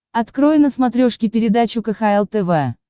открой на смотрешке передачу кхл тв